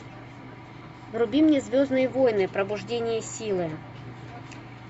вруби мне звездные войны пробуждение силы